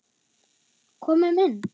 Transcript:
Komum inn!